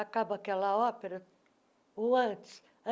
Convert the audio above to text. Acaba aquela ópera, ou antes.